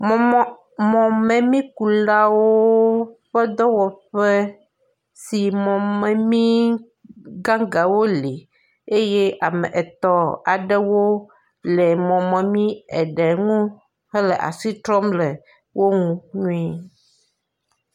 mɔ̀memí kulawo ƒe dɔwɔƒe si mɔmemí gãgãwo le ye ame etɔ̃ aɖewo le mɔmemi eve ŋu hele asi trɔm le eŋu nyuie